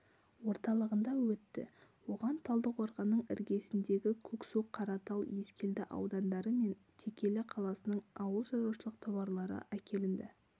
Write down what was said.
орталығында өтті оған талдықорғанның іргесіндегі көксу қаратал ескелді аудандары мен текелі қаласының ауылшаруашылық тауарлары әкелінді